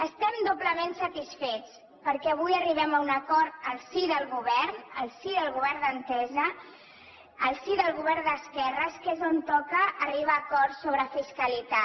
estem doblement satisfets perquè avui arribem un acord al si del govern al si del govern d’entesa al si del govern d’esquerres que és on toca arribar a acords sobre fiscalitat